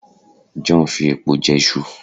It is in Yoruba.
John fi epo je Isu